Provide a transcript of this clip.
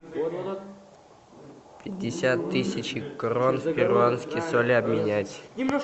пятьдесят тысяч крон в перуанские соли обменять